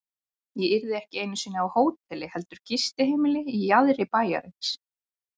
Ég yrði ekki einu sinni á hóteli heldur gistiheimili í jaðri bæjarins.